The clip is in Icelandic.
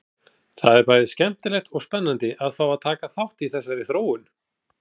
Það er bæði skemmtilegt og spennandi að fá að taka þátt í þessari þróun!